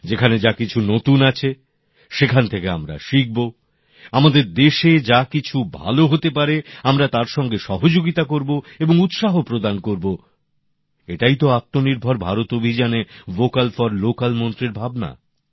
যেখানে যা নতুন আছে সেখান থেকে আমরা শিখব আমাদের দেশে যা কিছু ভালো হতে পারে আমরা তার সঙ্গে সহযোগিতা করব এবং উৎসাহ প্রদান করব এটাই তো আত্মনির্ভর ভারত অভিযানে ভোক্যাল ফর লোক্যাল মন্ত্রের ভাবনা